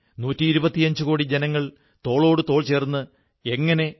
നാം അനേകം വിരാട് വ്യക്തിത്വങ്ങളുടെ പല തലങ്ങളെയും കുറിച്ച് ചർച്ച ചെയ്തിട്ടുണ്ട്